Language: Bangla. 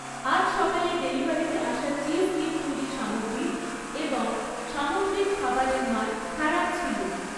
আজ সকালে ডেলিভারিতে আসা চিজ দিয়ে তৈরি সামগ্রী এবং সামুদ্রিক খাবারের মান খারাপ ছিল।